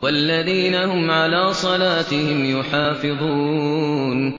وَالَّذِينَ هُمْ عَلَىٰ صَلَاتِهِمْ يُحَافِظُونَ